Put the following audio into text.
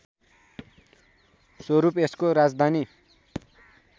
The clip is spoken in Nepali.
स्वरूप यसको राजधानी